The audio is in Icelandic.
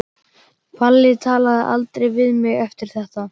Palli talaði aldrei við mig eftir þetta.